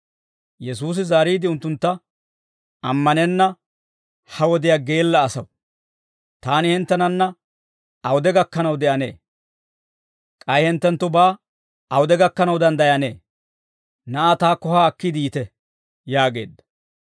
Yesuusi zaariide unttuntta, «Ammanenna ha wodiyaa geella asaw! Taani hinttenanna awude gakkanaw de'anee? K'ay hinttenttubaa awude gakkanaw danddayanee? Na'aa taakko haa akkiide yiite» yaageedda.